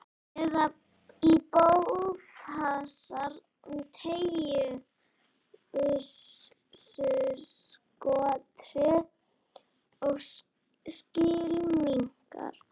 Eða í bófahasar, teygjubyssuskothríð og skylmingar.